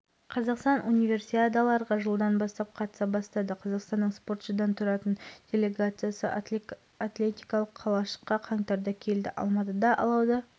қаңтарда жылы астанада дүниежүзілік қысқы универсиада алауы тұталып алматыға жеткізілді алауды шаңғы жарысынан жасөспірімдер арасындағы әлем чемпионатының күміс жүлдегері дәулет рақымбаев